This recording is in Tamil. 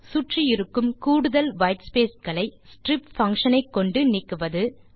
சுற்றி இருக்கும் கூடுதல் வைட் ஸ்பேஸ் களை strip பங்ஷன் ஐ கொண்டு நீக்குவது